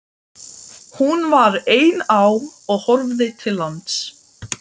Hún var ein á og horfði til lands.